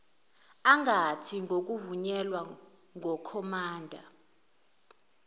angathi ngokuvunyelwa ngukhomanda